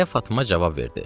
deyə Fatma cavab verdi.